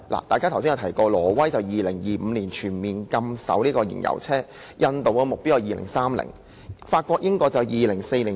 大家剛才也提到，挪威會在2025年全面禁售燃油車；印度的目標是2030年；法國和英國則是2040年。